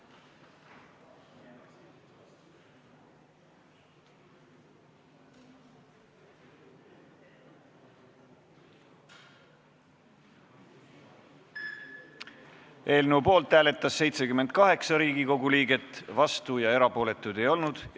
Hääletustulemused Eelnõu poolt hääletas 78 Riigikogu liiget, vastuolijaid ja erapooletuid ei olnud.